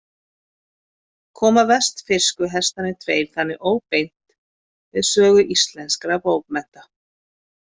Koma vestfirsku Hestarnir tveir þannig óbeint við sögu íslenskra bókmennta.